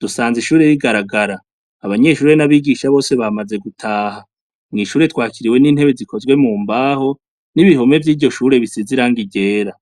dusanze ishure rigaragara abanyeshurire n'abigisha bose bamaze gutaha mw'ishure twakiriwe n'intebe zikozwe mu mbaho n'ibihome vy'iryo shure bisize irangi ryera.